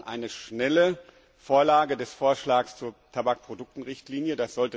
Wir brauchen eine schnelle Vorlage des Vorschlags zur Tabakprodukterichtlinie